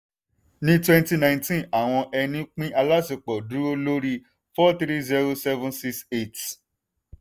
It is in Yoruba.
ní twenty nineteen àwọn ẹni pín aláṣepọ̀ dúró lórí four three zero seven six eight.